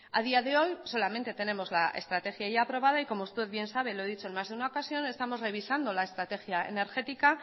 a día de hoy solamente tenemos la estrategia ya aprobada y como usted bien sabe lo he dicho en más de una ocasión estamos revisando la estrategia energética